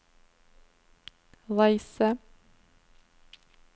reise